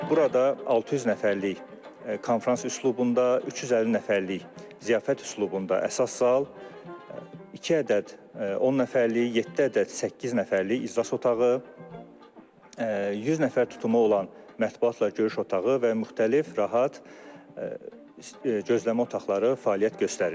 Burada 600 nəfərlik konfrans üslubunda, 350 nəfərlik ziyafət üslubunda əsas zal, iki ədəd 10 nəfərlik, yeddi ədəd səkkiz nəfərlik iclas otağı, 100 nəfər tutumu olan mətbəxlə görüş otağı və müxtəlif rahat gözləmə otaqları fəaliyyət göstərir.